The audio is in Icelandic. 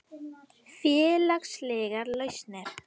Félagslegar lausnir